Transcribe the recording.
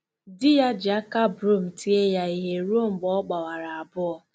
Di ya ji aka broom tie ya ihe ruo mgbe ọ gbawara abụọ.